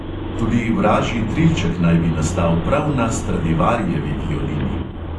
Tudi vražji trilček naj bi nastal prav na stradivarijevi violini.